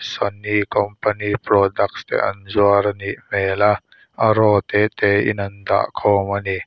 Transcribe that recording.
sony company product te an zuar anih hmel a a row tete in an dah khawm ani.